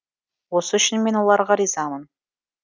осы үшін мен оларға ризамын